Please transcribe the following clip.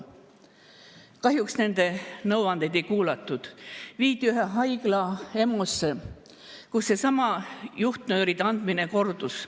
Kahjuks nõuandeid ei kuulatud, mees viidi ühe haigla EMO‑sse, kus seesama juhtnööride andmine kordus.